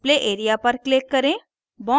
display area पर click करें